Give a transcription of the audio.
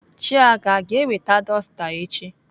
Chiaga aga eweta dọsta echi?